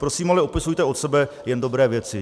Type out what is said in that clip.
Prosím ale, opisujte od sebe jen dobré věci.